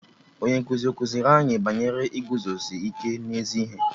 Onye nkụzi ọ kụziri anyị banyere iguzosi ike n'ezi ihe?